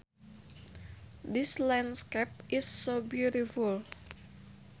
This landscape is so beautiful